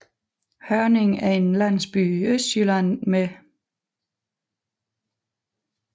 Hørning er en landsby i Østjylland med